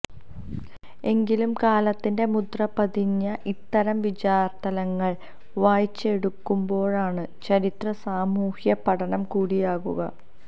എങ്കിലും കാലത്തിന്റെ മുദ്രപതിഞ്ഞ ഇത്തരം വിചാരതലങ്ങള് വായിച്ചെടുക്കുമ്പോഴാണ് ചരിത്രം സാമൂഹ്യപഠനം കൂടിയാകുക